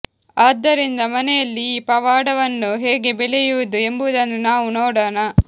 ಆದ್ದರಿಂದ ಮನೆಯಲ್ಲಿ ಈ ಪವಾಡವನ್ನು ಹೇಗೆ ಬೆಳೆಯುವುದು ಎಂಬುದನ್ನು ನಾವು ನೋಡೋಣ